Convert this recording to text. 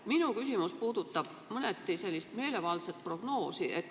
Minu küsimus puudutab mõneti meelevaldset prognoosi.